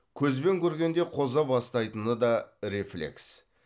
көзбен көргенде қоза бастайтыны да рефлекс